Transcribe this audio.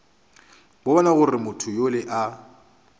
bona gore motho yola a